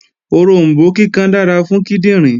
Oròmbó kíkan dára fún kíndìnrín